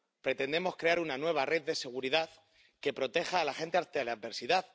Pretendemos crear una nueva red de seguridad que proteja a la gente ante la adversidad